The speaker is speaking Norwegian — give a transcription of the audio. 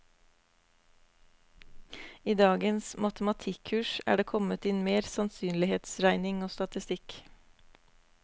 I dagens matematikkurs er det kommet inn mer sannsynlighetsregning og statistikk.